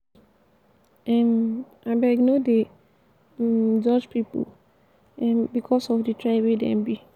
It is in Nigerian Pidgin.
um abeg no dey um judge pipu um because of di tribe wey dem be.